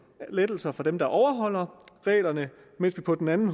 lettelser for dem der overholder reglerne mens vi på den anden